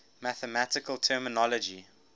mathematical terminology